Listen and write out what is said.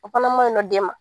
O fana man ɲiɲ nɔ den ma.